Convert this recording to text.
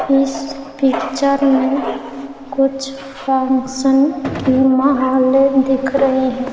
इस पिक्चर में कुछ फंक्शन की माहलें दिख रही हैं।